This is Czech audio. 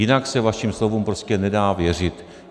Jinak se vašim slovům prostě nedá věřit.